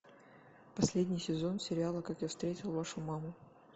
последний сезон сериала как я встретил вашу маму